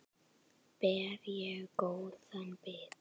Ber ég góða bita.